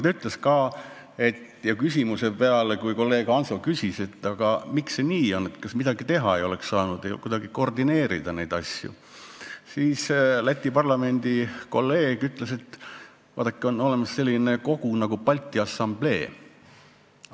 Aga kui kolleeg Hanso küsis, et miks see nii on, kas ei oleks saanud midagi teha ja kuidagi koordineerida neid asju, siis Läti parlamendi kolleeg ütles, et vaadake, on olemas selline kogu nagu Balti Assamblee.